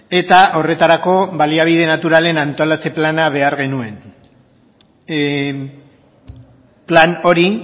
eta horretarako baliabide naturalen antolatze plana behar genuen plan hori